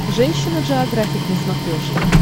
женщина джеографик на смотрешке